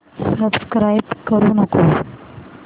subscribe करू नको